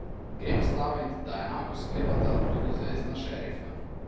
Grem stavit, da enako sklepata tudi zvezna šerifa.